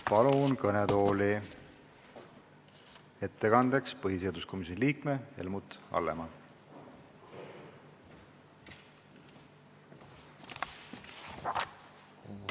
Palun kõnetooli ettekandeks põhiseaduskomisjoni liikme Helmut Hallemaa!